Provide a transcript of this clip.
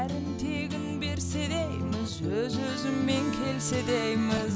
тегін берсе дейміз өз өзімен келсе дейміз